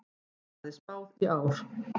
Hagnaði spáð í ár